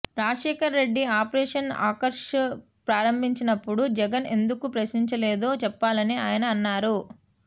Rajasekhar Reddy operation Akarsh ప్రారంభించినప్పుడు జగన్ ఎందుకు ప్రశ్నించలేదో చెప్పాలని ఆయన అన్నారు